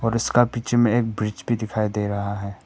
इसका पीछे में एक ब्रिज भी दिखाई दे रहा है।